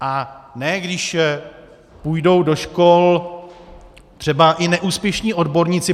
A ne když půjdou do škol třeba i neúspěšní odborníci.